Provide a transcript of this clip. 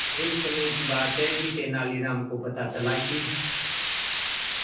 एक समय की बात है कि तेनालीराम को पता चला कि